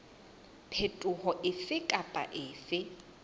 phetoho efe kapa efe e